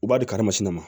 U b'a di karimasina ma